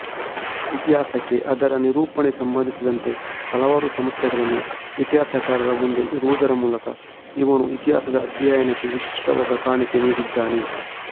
ಇತಿಹಾಸಕ್ಕೆಅದರ ನಿರೂಪಣೆಗೆಸಂಬಂಧಿಸಿದಂತೆ ಹಲವಾರು ಸಮಸ್ಯೆಗಳನ್ನು ಇತಿಹಾಸಕಾರರ ಮುಂದೆ ಇಡುವುದರ ಮೂಲಕ ಇವನು ಇತಿಹಾಸದ ಅಧ್ಯಯನಕ್ಕೆ ವಿಶಿಷ್ಟವಾದ ಕಾಣಿಕೆ ನೀಡಿದ್ದಾನೆ